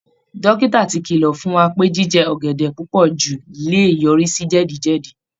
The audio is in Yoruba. Dókítà ti kìlọ̀ fún wa pé jíjẹ ọ̀gẹ̀dẹ̀ púpọ̀ jù lè yọrí sí jẹ̀díjẹ̀dí